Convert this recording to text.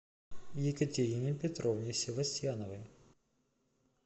екатерине петровне севастьяновой